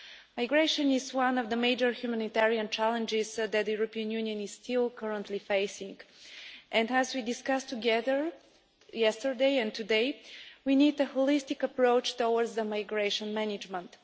Migration is one of the major humanitarian challenges that the European Union is currently still facing and, as we discussed together yesterday and today, we need a holistic approach to migration management.